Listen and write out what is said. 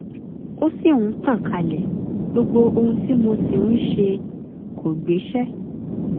ó ṣì ń tàn kálẹ̀ gbogbo ohun tí mo sì ń ṣe kò gbéṣẹ́